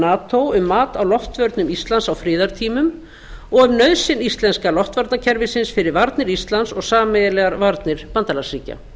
nato um mat á loftvörnum íslands á friðartímum og nauðsyn íslenska loftvarnakerfisins fyrir varnir íslands og sameiginlegar varnir bandalagsríkja